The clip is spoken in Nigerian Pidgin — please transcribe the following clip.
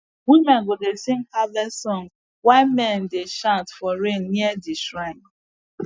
women go dey sing harvest song while men dey chant for rain near the shrine